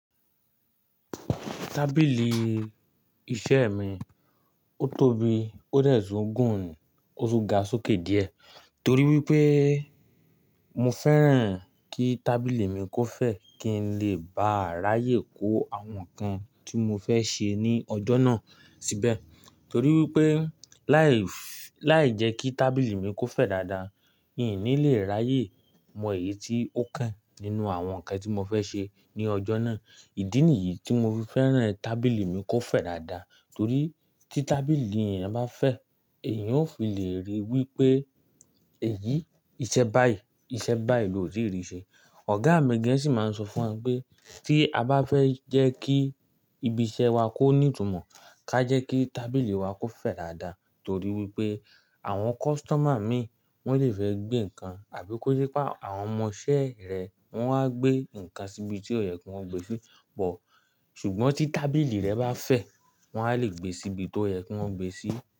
Tábìlì iṣẹ́ mi, ó tóbi, ó dẹ̀ tún gùn ó tún ga sókè díẹ̀ torí wípé mo fẹ́ràn kí tábìlì mi kó fẹ̀ kí n lè bá ráyè kó àwọn ǹkan tí mo fẹ́ ṣe ní ọjọ́ náà síbẹ̀ torí wípé láì, láì jẹ́ kí tábìlì mi kó fẹ̀ dáadáa, ń ní lè ráyè mọ èyí tí ó kàn nínú àwọn ǹkan tí mo fẹ́ ṣe ní ọjọ́ náà. Ìdí nìyí tí mo fi fẹ́ràn tábìlì mi kó fẹ̀ dáadáa torí tí tábìlì ẹ̀èyàn bá fẹ̀, èèyàn ó fi lè rí wípé èyí iṣẹ́ báyìí, iṣẹ́ báyìí lòótí rí ṣe. Ọ̀gá mi gan sì máa ń sọ fún wa pé tí a bá fẹ́ jẹ́ kí ibi iṣẹ́ wa kó ní ìtumọ̀, ká jẹ́ kí tábìlì wa kó fẹ̀ dáadáa torí wípé àwọn customer mìí wón lè fẹ́ gbé ǹkan àbí kó jé pé àwọn ọmọ iṣẹ́ rẹ wón wá gbé ǹkan síbi tí ó yẹ kí wọ́n gbe sí, ṣùgbọ́n tí tábìlì rẹ bá fẹ̀, wọ́n á lè gbé síbi tó yẹ kí wọ́n gbe sí.